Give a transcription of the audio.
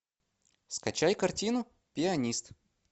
скачай картину пианист